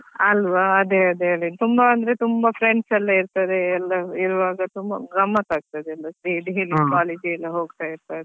ಅಲ್ವಾ ಅದೇ ಅದೇ ಅದೇ ತುಂಬಾ ಅಂದ್ರೆ ತುಂಬಾ friends ಎಲ್ಲ ಇರ್ತಾರೆ ಎಲ್ಲ ಇರುವಾಗ ತುಂಬಾ ಗಮ್ಮತ್ ಆಗ್ತದೆ ಎಲ್ಲ ಸೇರಿ college ಗೆಲ್ಲ.